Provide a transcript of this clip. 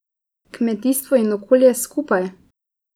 Kmetijstvo in okolje skupaj?